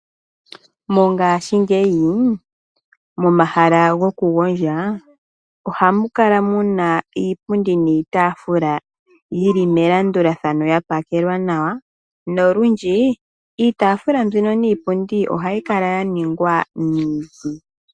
Mongashingeyi momahala gokugondja ohamu kala muna iipundi niitafula yili melandulathano yapakelwa nawa nolundji iitafula mbika niipundi ohayi kala yaningwa miiti.